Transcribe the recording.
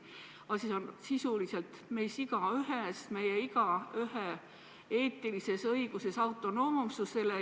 Asi on sisuliselt meist igaühes, meist igaühe eetilises õiguses autonoomsusele.